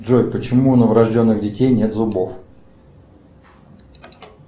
джой почему у новорожденных детей нет зубов